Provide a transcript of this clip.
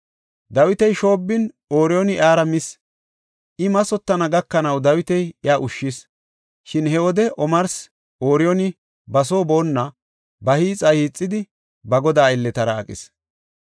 Dawiti shoobbin Ooriyooni iyara mis; I mathotana gakanaw Dawiti iya ushshis. Shin he wode omarsi Ooriyooni ba soo boonna, ba hiixa hiixidi ba godaa aylletara aqis.